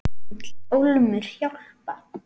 Hann vill ólmur hjálpa.